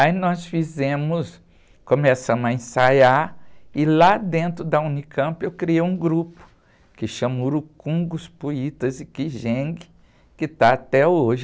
Aí nós fizemos, começamos a ensaiar e lá dentro da unicampi eu criei um grupo que chama rucungos, Puitas e Quijengues que está até hoje.